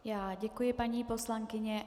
Já děkuji, paní poslankyně.